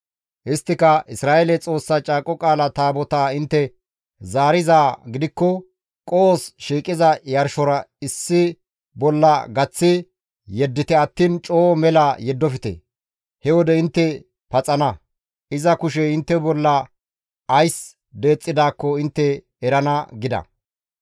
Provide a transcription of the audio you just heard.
Isttika, «Isra7eele Xoossa Caaqo Qaala Taabotaa intte zaarizaa gidikko qohos shiiqiza yarshora issi bolla gaththi yeddite attiin coo mela yeddofte; he wode intte paxana; iza kushey intte bolla ays deexxidaakko intte erana» gida.